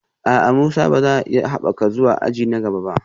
A'a, Musa ba za a iya haɓaka zuwa aji na gaba ba